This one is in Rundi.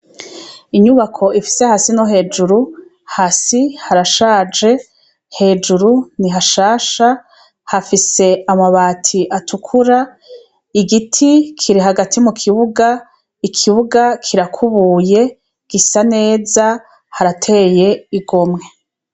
Inyubako ifise hasi no hejuru hasi harashaje hejuru ni hashasha hafise amabati atukura igiti kiri hagati mu kibuga ikibuga kirakubuye gisa neza harateye igo mwe.